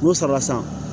N'o sara san